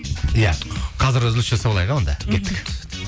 иә қазір үзіліс жасап алайық иә онда кеттік